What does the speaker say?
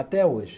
Até hoje.